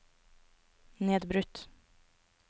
nedbrutt